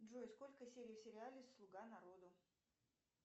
джой сколько серий в сериале слуга народу